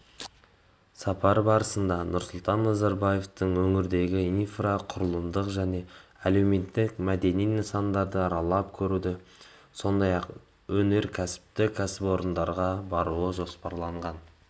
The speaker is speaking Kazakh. сапар барысында нұрсұлтан назарбаевтың өңірдегі инфрақұрылымдық және әлеуметтік-мәдени нысандарды аралап көруі сондай-ақ өнеркәсіптік кәсіпорындарға баруы жоспарланған